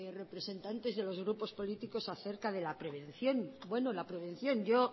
representantes de los grupos políticos acerca de la prevención bueno la prevención yo